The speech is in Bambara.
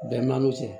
Bɛnkanw cɛ